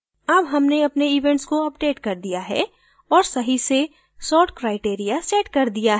अब हमने अपने events को अपडेट कर दिया है और सही से sort criteria set कर दिया है